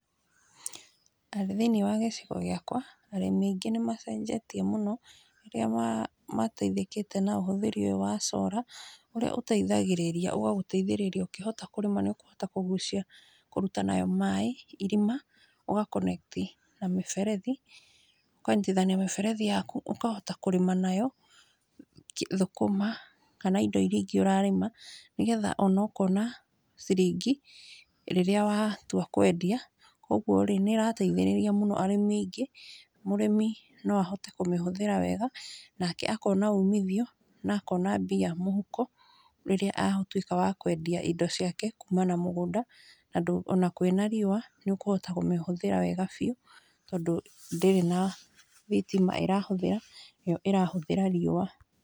Thĩinĩ wa gĩcigo gĩakwa, arĩmi aingĩ nĩ macenjetie mũno rĩrĩa mateithĩkĩte na ũhũthĩri ũyũ wa solar ũrĩa ũteithagĩrĩria, ũgagũteithĩrĩria ũkĩhota kũrĩma nĩ ũkũhota kũgucia, kũruta nayo maĩ irima, ũga connect na mĩberethi. Ũkanyitithania mĩberethi yaku ũkahota kũrĩma nayo thũkũma kana indo iria ingĩ ũrarĩma nĩgetha ona ũkona ciringi rĩrĩa watua kũendia. Koguo rĩ, nĩ ĩrateithĩrĩria mũno arĩmi aingĩ. Mũrĩmi no ahote kũmĩhũthĩra wega, nake akona umithio na akona mbia mũhuko rĩrĩa atuĩka wa kũendia indo ciake kuma na mũgũnda. Ona kwĩna riũa, nĩ ũkũhota kũmĩhũthĩra wega biũ tondũ ndĩrĩ na thitima ĩrahũthĩra, yo ĩrahũthĩra riũa.